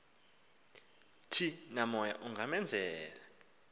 thi namoya ungamenzela